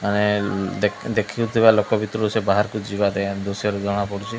ଆଏନ୍ ଦେଖିନଥିବା ଲୋକ ଭିତରୁ ସେ ବାହାରକୁ ଯିବା ପାଇଁ ଏନ୍ଦୁସିଅର୍ ଜଣାପଡୁଛି।